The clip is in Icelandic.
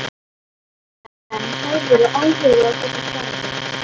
En hefðirðu áhuga á þessu starfi?